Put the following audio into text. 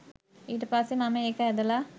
ඊට පස්සේ මම ඒක ඇදලා